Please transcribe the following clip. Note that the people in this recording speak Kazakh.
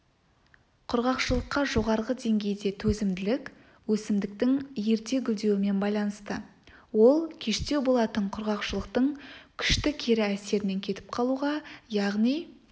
құрғақшылыққа жоғары деңгейде төзімділік өсімдіктің ерте гүлдеуімен байланысты ол кештеу болатын құрғақшылықтың күшті кері әсерінен кетіп қалуға яғни